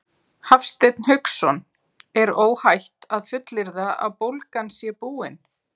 Hafsteinn Hauksson: Er óhætt að fullyrða að bólgan sé búin?